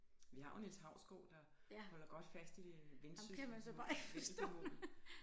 Vi har jo Niels Hausgaard der holder godt fast i det Vendsyssel vendelbomål